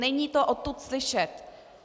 Není to odtud slyšet.